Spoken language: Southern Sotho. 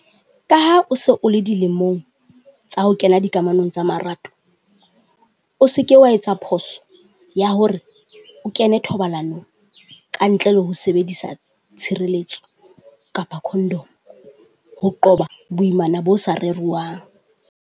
Ka ha o se o le dilemong tsa ho kena dikamanong tsa marato, o se ke wa etsa phoso ya hore o kene thobalano ka ntle le ho sebedisa tshireletso kapa condom. Ho qoba boimana bo sa reriwang.